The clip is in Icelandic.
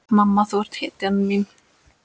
Mamma þú ert hetjan mín.